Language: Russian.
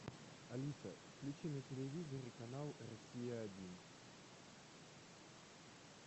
алиса включи на телевизоре канал россия один